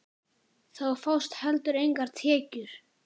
Þá fást heldur engar tekjur.